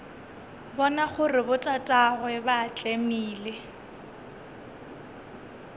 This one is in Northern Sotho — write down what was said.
bona gore botatagwe ba tlemile